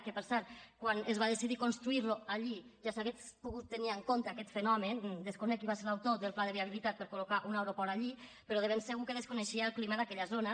que per cert quan es va deci·dir construir·lo allí ja s’hauria pogut tenir en compte aquest fenomen desconec qui va ser l’autor del pla de viabilitat per col·locar un aeroport allí però de ben se·gur que desconeixia el clima d’aquella zona